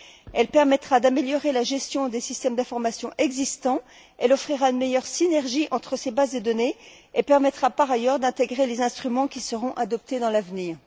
Elle permettra d'améliorer la gestion des systèmes d'information existants, elle offrira une meilleure synergie entre ces bases de données et permettra, par ailleurs, d'intégrer les instruments qui seront adoptés à l'avenir.